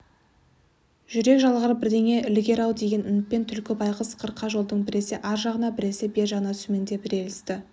жүрек жалғар бірдеңе ілігер-ау деген үмітпен түлкі байғұс қырқа жолдың біресе ар жағына біресе бер жағына сүмеңдеп рельсті